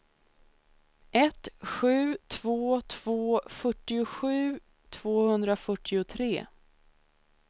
ett sju två två fyrtiosju tvåhundrafyrtiotre